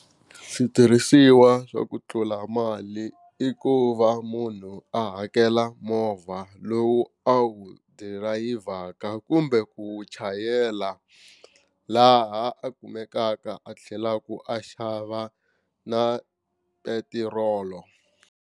Switirhisiwa swa ku tlula mali i ku va munhu a hakela movha lowu a wu dirayivhaka kumbe ku wu chayela laha a kumekaka a tlhelaka a xava na petirolo.